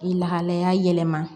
I lahalaya yɛlɛma